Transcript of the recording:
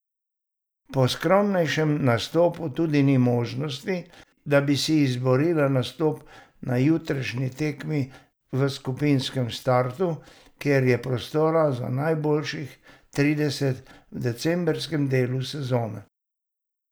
Po skromnejšem nastopu tudi ni možnosti, da bi si izborila nastop na jutrišnji tekmi v skupinskem startu, kjer je prostora za najboljših trideset v decembrskem delu sezone.